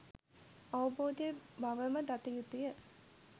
අවබෝධය බවම දත යුතුය